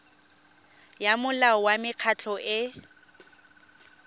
ya molao wa mekgatlho e